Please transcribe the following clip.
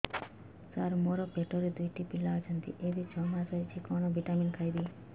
ସାର ମୋର ପେଟରେ ଦୁଇଟି ପିଲା ଅଛନ୍ତି ଏବେ ଛଅ ମାସ ହେଇଛି କଣ ଭିଟାମିନ ଖାଇବି